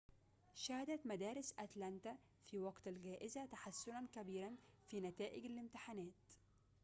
شهدت مدارس أتلانتا في وقت الجائزة تحسنًا كبيرًا في نتائج الامتحانات